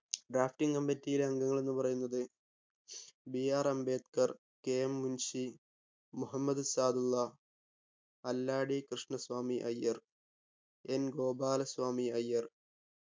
drafting committee ലെ അംഗങ്ങൾ എന്നു പറയുന്നത് BR Ambedkar KM Munshi Muhammad Saadulla Alladi Krishnaswami Ayyar N Gopalaswami Iyer